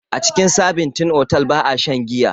A cikin sabintin otal ba'a shan giya.